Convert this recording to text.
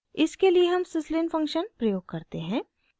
इसके लिए हम syslin फंक्शन प्रयोग करते हैं